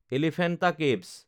Elephanta caves